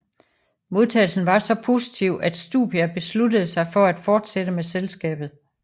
Modtagelsen var så positiv at Stupia besluttede sig for at fortsætte med selskabet